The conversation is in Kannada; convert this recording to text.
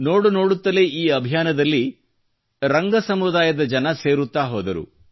ನೋಡು ನೋಡುತ್ತಲೇ ಈ ಅಭಿಯಾನದಲ್ಲಿ ರಂಗ ಸಮುದಾಯದ ಜನರು ಸೇರುತ್ತ ಹೋದರು